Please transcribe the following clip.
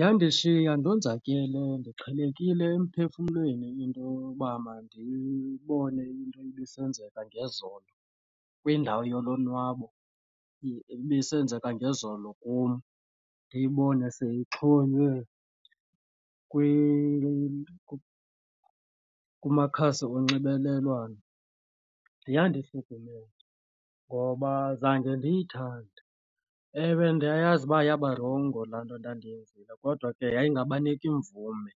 Yandishiya ndonzakele ndixhelekile emphefumlweni into yoba mandibone into ibisenzeka ngezolo kwindawo yolonwabo ibisenzeka ngezolo kum ndiyibone seyixhonywe kumakhasi onxibelelwano. Yandihlukumeza lonto ngoba zange ndiyithande. Ewe, ndiyayazi uba yabarongo laa nto ndandiyenzile kodwa ke yayingabaniki mvume